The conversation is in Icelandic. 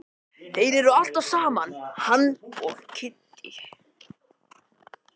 Þeir eru alltaf saman hann og Kiddi.